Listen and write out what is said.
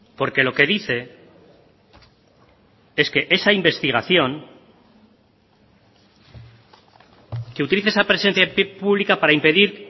porque lo que dice es que esa investigación que utilice esa presencia pública para impedir